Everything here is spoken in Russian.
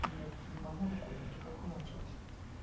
блять ебану рукой и такая хуйня началась